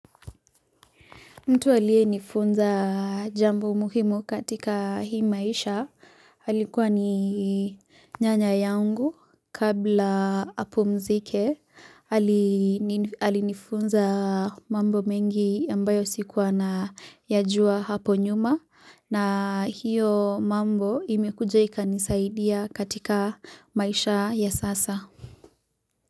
Mtu aliyenifunza jambo muhimu katika hii maisha, alikuwa ni nyanya yangu kabla apumzike, alinifunza mambo mengi ambayo sikuwa nayajua hapo nyuma. Na hiyo mambo imekuja ikanisaidia katika maisha ya sasa.